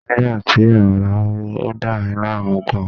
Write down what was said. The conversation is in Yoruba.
Nígbà tí ààrá hó, ó dà mí láàmú gan-an